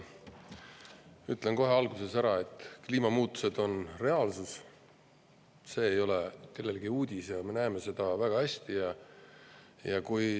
Ütlen kohe alguses ära, et kliimamuutused on reaalsus, see ei ole kellelegi uudis, ja me näeme seda väga hästi.